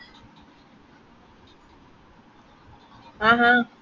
ആഹ്ഹ